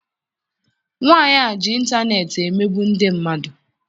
Nwaanyị a ji intaneeti emegbu ndị mmadụ.